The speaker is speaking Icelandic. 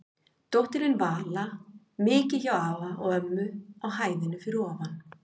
Dóttirin Vala mikið hjá afa og ömmu á hæðinni fyrir ofan.